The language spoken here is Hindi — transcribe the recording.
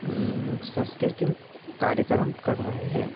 उम् संस्कृतिम कार्यक्रम कर रहें हैं।